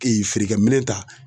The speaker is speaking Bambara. feerekɛ minɛn ta.